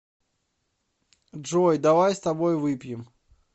джой давай с тобой выпьем